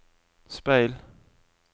speil